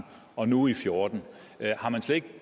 og nu i fjorten har man slet ikke